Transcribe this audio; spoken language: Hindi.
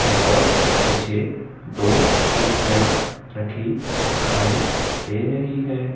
और मुझे दो कुर्सियां रखी दिखाई दे रही है।